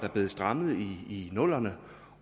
blevet strammet i nullerne